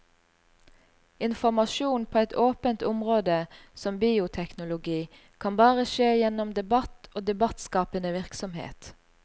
Informasjon på et åpent område som bioteknologi kan bare skje gjennom debatt og debattskapende virksomhet.